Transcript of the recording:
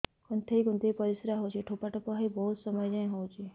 କୁନ୍ଥେଇ କୁନ୍ଥେଇ ପରିଶ୍ରା ହଉଛି ଠୋପା ଠୋପା ହେଇ ବହୁତ ସମୟ ଯାଏ ହଉଛି